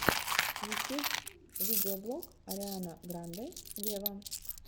ютюб видеоблог ариана гранде вево